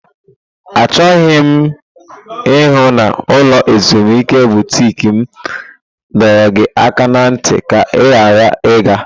Achọghị m ịhụ na ulo ezimuike butiki m dọrọ gị aka ná ntị ka ị ghara ịga!